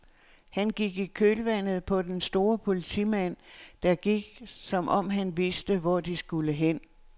Han gik i kølvandet på den store politimand, der gik som om han vidste, hvor de skulle hen.